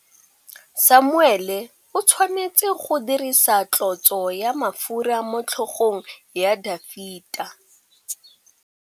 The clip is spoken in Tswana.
Samuele o tshwanetse go dirisa tlotsô ya mafura motlhôgong ya Dafita.